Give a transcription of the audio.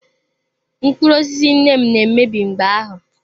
Mkpụrụ osisi nne m na-emebi mgbe ahụ.